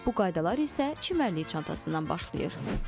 Bu qaydalar isə çimərlik çantasından başlayır.